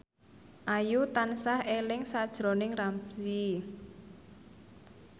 Ayu tansah eling sakjroning Ramzy